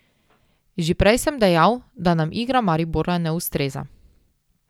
Že prej sem dejal, da nam igra Maribora ne ustreza.